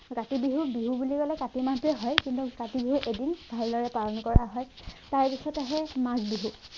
কাতি বিহু বিহু বুলি কলে কাতি মাহটোৱে আহে কিন্তু কাতি বিহু এদিন ভালদৰে পালন কৰা হয় তাৰপাছত আহে মাঘ বিহু